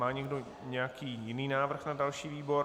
Má někdo nějaký jiný návrh na další výbor?